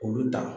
Olu ta